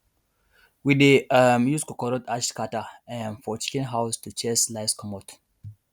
we dey um use coconut ash scatter um for chicken house to chase lice comot